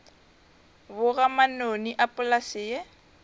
boga manoni a polase ye